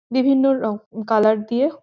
বিভিন্ন রকম কালার দিয়ে--